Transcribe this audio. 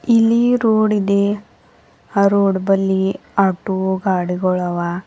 ಇಲ್ಲಿ ರೋಡ್ ಇದೆ ಆ ರೋಡ್ ಬಲಿ ಆಟೋ ಗಾಡಿಗೋಳ ಆವಾ.